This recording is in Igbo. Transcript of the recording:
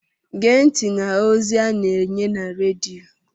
Gee ntị n'ozi a na-enye na redio!